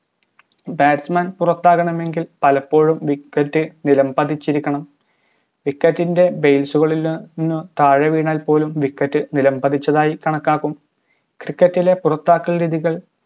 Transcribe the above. batsman പുറത്താകണാമെങ്കിൽ പലപ്പോഴും wicket നിലംപതിച്ചിരിക്കണം wicket ൻറെ base ഇൽ നിന്നും താഴെ വീണാൽ പോലും wicket ഇൽ നിലം പതിച്ചതായി കണക്കാക്കുന്നു cricket ലെ പുറത്താക്കൽ രീതികൾ